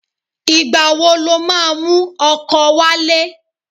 Ìgbà wo lo máa mú ọkọ wálé?